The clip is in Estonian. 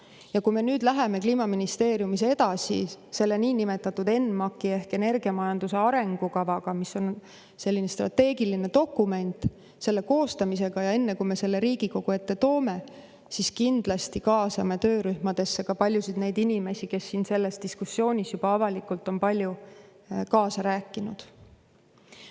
Ja kui me nüüd läheme Kliimaministeeriumis edasi selle niinimetatud ENMAK-i ehk energiamajanduse arengukava koostamisega, mis on selline strateegiline dokument, siis enne, kui me selle Riigikogu ette toome, me kindlasti kaasame töörühmadesse ka paljusid inimesi, kes selles diskussioonis on avalikult juba kaasa rääkinud.